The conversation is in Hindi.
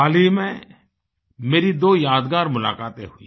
हाल ही में मेरी दो यादगार मुलाकातें हुई